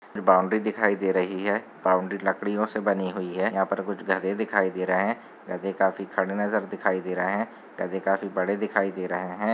Boundary दिखाई दे रही है बाउंड्री लकडियो से बनी हुई है यहाँ पर कुछ गधे दिखाई दे रहे है गधे काफी खड़े नज़र दिखाई दे रहे है गधे काफी बड़े दिखाई दे रहे है।